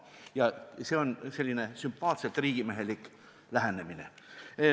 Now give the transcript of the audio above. Ja see on selline sümpaatselt riigimehelik lähenemine.